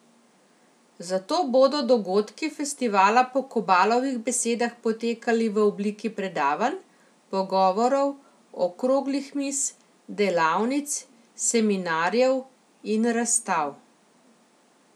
Zato bodo dogodki festivala po Kobalovih besedah potekali v obliki predavanj, pogovorov, okroglih miz, delavnic, seminarjev in razstav.